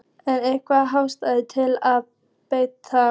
Er einhver ástæða til að breyta?